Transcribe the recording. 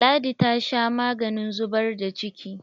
Ladi ta sha maganin zubar da ciki.